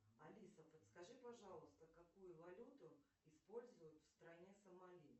алиса подскажи пожалуйста какую валюту используют в стране сомали